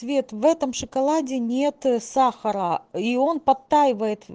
цвет в этом шоколаде нет сахара и он подтаивает